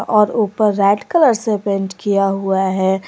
और ऊपर red colour से पेंट किया हुआ है।